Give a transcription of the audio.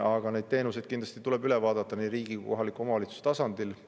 Aga need teenused tuleb kindlasti üle vaadata nii riigi kui ka kohaliku omavalitsuse tasandil.